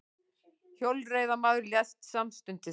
Hjólreiðamaður lést samstundis